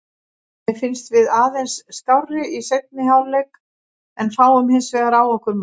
Mér fannst við aðeins skárri í seinni hálfleik en fáum hinsvegar á okkur mark.